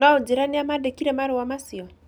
Na ũnjĩĩre nĩa mandĩkĩire marũa macio.